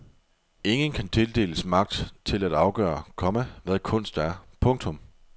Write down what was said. Ingen kan tildeles magt til at afgøre, komma hvad kunst er. punktum